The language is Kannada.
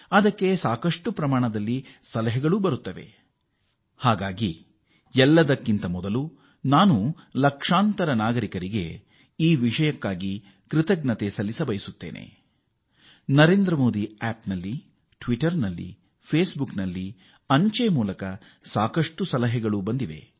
ಅದಕ್ಕೆ Narendra Modi app Twitter Facebook ಅಂಚೆ ಮೂಲಕ ಸಾಕಷ್ಟು ಪ್ರಮಾಣದಲ್ಲಿ ಸಲಹೆಗಳು ಬರುತ್ತವೆ